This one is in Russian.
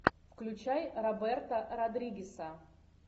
включай роберта родригеса